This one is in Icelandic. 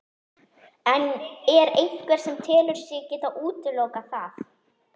En er einhver sem telur sig geta útilokað það?